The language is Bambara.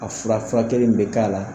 A fura furakɛli min bɛ k'a la.